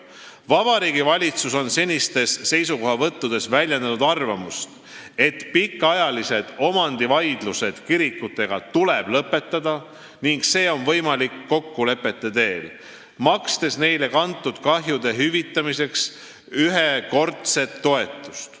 Vabariigi Valitsus on senistes seisukohavõttudes väljendanud arvamust, et pikaajalised omandivaidlused kirikutega tuleb lõpetada ning seda on võimalik teha kokkulepete teel, makstes neile kantud kahjude hüvitamiseks ühekordset toetust.